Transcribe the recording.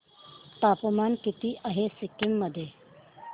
तापमान किती आहे सिक्किम मध्ये